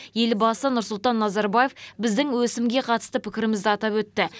елбасы нұрсұлтан назарбаев біздің өсімге қатысты пікірімізді атап өтті